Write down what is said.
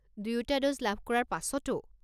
দুয়োটা ড'জ লাভ কৰাৰ পাছতো?